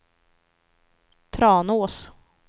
Tranås